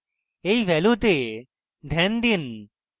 এই ভ্যালুতে ধ্যান রাখুন